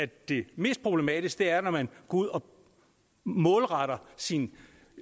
det mest problematiske er når man går ud og målretter sin